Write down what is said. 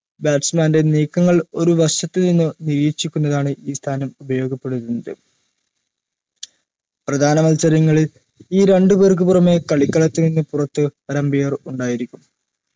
batsman ൻറെ നീക്കങ്ങൾ ഒരു വശത്തുനിന്നും നിരീക്ഷിക്കുന്നതാണ് ഈ സ്ഥാനം ഉപടോഗപ്പെടുത്തുന്നത് പ്രധാന മത്സരങ്ങളിൽ ഈരണ്ടുപേർക്കു പുറമെ കളിക്കളത്തിൽ പുത് ഒരു umpire ഉണ്ടായിരിക്കും